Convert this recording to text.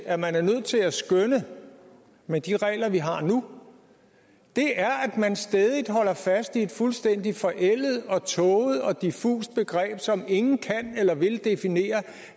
at man er nødt til at skønne med de regler vi har nu er at man stædigt holder fast i et fuldstændig forældet og tåget og diffust begreb som ingen kan eller vil definere